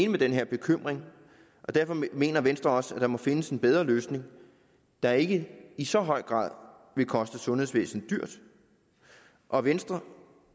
med den her bekymring og derfor mener venstre også at der må findes en bedre løsning der ikke i så høj grad vil koste sundhedsvæsenet dyrt og venstre